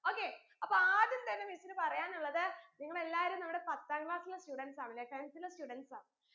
okay അപ്പൊ ആദ്യം തന്നെ miss ന് പറയാനുള്ളത് നിങ്ങളെല്ലാരും നമ്മടെ പത്താം class ലെ students ആണ് ലെ tenth ലെ students ആ